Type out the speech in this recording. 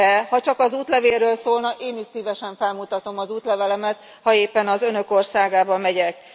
Ha csak az útlevélről szólna, én is szívesen felmutatom az útlevelemet, ha éppen az Önök országába megyek.